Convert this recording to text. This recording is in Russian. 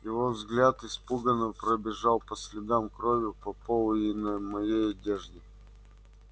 его взгляд испуганно пробежал по следам крови на полу и на моей одежде